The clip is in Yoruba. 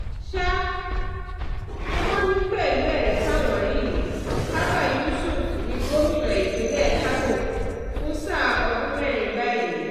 sá wọn ni pẹ̀lú ẹ̀rí táwọn rí yìí abba yusuf ní gómìnà ìpínlẹ̀ kánò fún sáà ọdún mẹ́rin báyìí